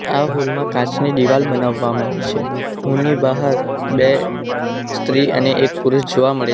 આ હોલ માં કાચની દિવાલ બનાવવામાં આવી છે હોલ ની બાહર બે સ્ત્રી અને એક પુરુષ જોવા મળે --